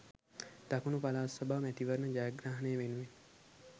දකුණු පළාත් සභා මැතිවරණ ජයග්‍රහණය වෙනුවෙන්